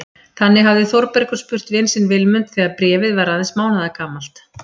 Þannig hafði Þórbergur spurt vin sinn Vilmund þegar Bréfið var aðeins mánaðargamalt.